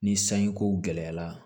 Ni sanji ko gɛlɛyara